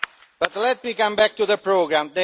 But let me come back to the programme.